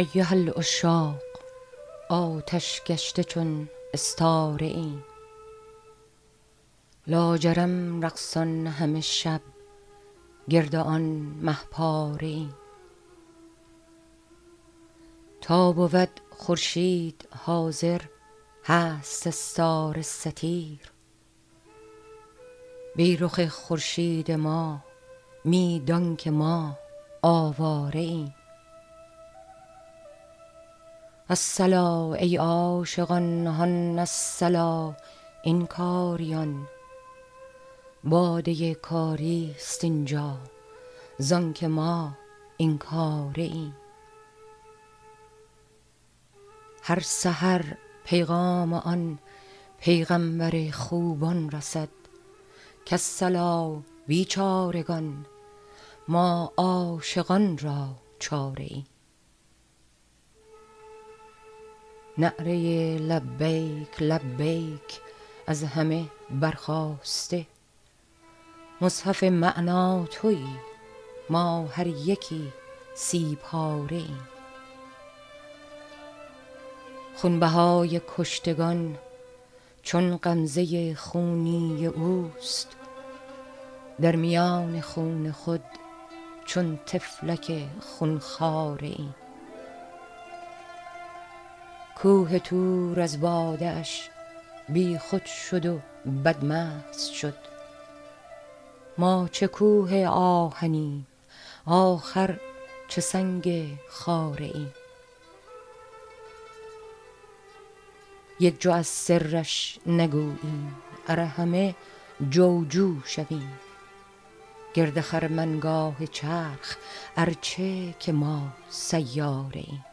ایها العشاق آتش گشته چون استاره ایم لاجرم رقصان همه شب گرد آن مه پاره ایم تا بود خورشید حاضر هست استاره ستیر بی رخ خورشید ما می دانک ما آواره ایم الصلا ای عاشقان هان الصلا این کاریان باده کاری است این جا زانک ما این کاره ایم هر سحر پیغام آن پیغامبر خوبان رسد کالصلا بیچارگان ما عاشقان را چاره ایم نعره لبیک لبیک از همه برخاسته مصحف معنی توی ما هر یکی سی پاره ایم خونبهای کشتگان چون غمزه خونی اوست در میان خون خود چون طفلک خون خواره ایم کوه طور از باده اش بیخود شد و بدمست شد ما چه کوه آهنیم آخر چه سنگ خاره ایم یک جو از سرش نگوییم ار همه جو جو شویم گرد خرمنگاه چرخ ار چه که ما سیاره ایم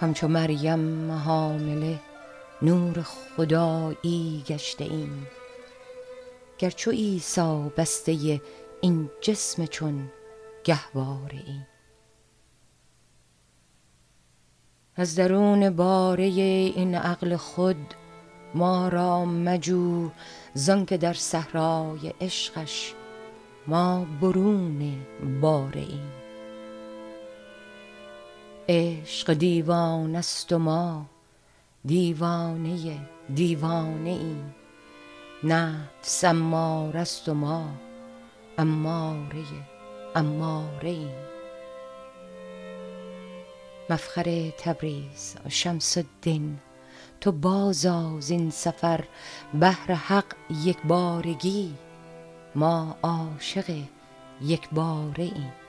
همچو مریم حامله نور خدایی گشته ایم گر چو عیسی بسته این جسم چون گهواره ایم از درون باره این عقل خود ما را مجو زانک در صحرای عشقش ما برون باره ایم عشق دیوانه ست و ما دیوانه دیوانه ایم نفس اماره ست و ما اماره اماره ایم مفخر تبریز شمس الدین تو بازآ زین سفر بهر حق یک بارگی ما عاشق یک باره ایم